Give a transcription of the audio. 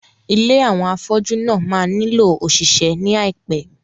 Ilé àwọn afọ́jú náà máa nílò òṣìṣẹ́ ní àìpé.